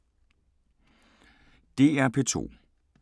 DR P2